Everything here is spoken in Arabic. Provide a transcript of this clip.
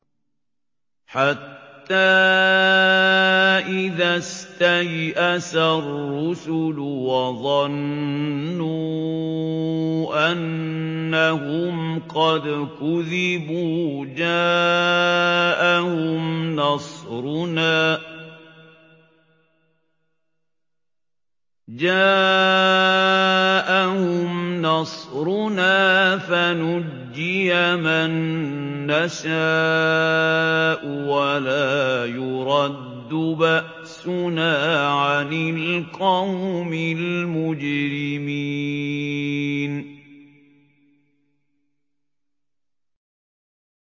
حَتَّىٰ إِذَا اسْتَيْأَسَ الرُّسُلُ وَظَنُّوا أَنَّهُمْ قَدْ كُذِبُوا جَاءَهُمْ نَصْرُنَا فَنُجِّيَ مَن نَّشَاءُ ۖ وَلَا يُرَدُّ بَأْسُنَا عَنِ الْقَوْمِ الْمُجْرِمِينَ